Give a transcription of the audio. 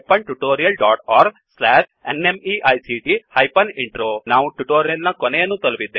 httpspoken tutorialorgNMEICT Intro ನಾವು tutorial ನ ಕೊನೆಯನ್ನು ತಲುಪಿದ್ದೇವೆ